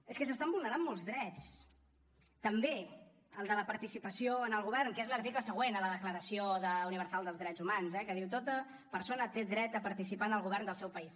és que s’estan vulnerant molts drets també el de la participació en el govern que és l’article següent a la declaració universal dels drets humans eh que diu tota persona té dret a participar en el govern del seu país